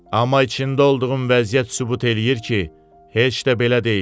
Amma içində olduğum vəziyyət sübut eləyir ki, heç də belə deyil.